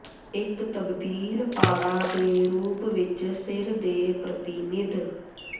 ਇੱਕ ਤਬਦੀਲ ਪਾੜਾ ਦੇ ਰੂਪ ਵਿੱਚ ਸਿਰ ਦੇ ਪ੍ਰਤੀਨਿਧ